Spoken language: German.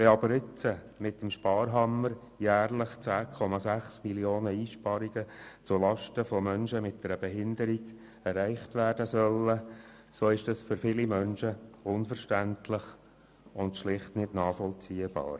Wenn aber nun mit dem Sparhammer jährlich Einsparungen in der Höhe von 10,6 Mio. Franken zulasten von Menschen mit einer Behinderung erreicht werden sollen, so ist dies für viele Menschen unverständlich und schlicht nicht nachvollziehbar.